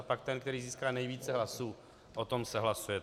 A pak ten, který získá nejvíce hlasů, o tom se hlasuje.